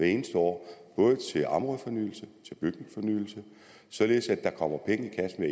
eneste år både til områdefornyelse og til bygningsfornyelse således at der kommer penge i kassen